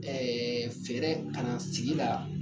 fɛɛrɛ ka na sigi la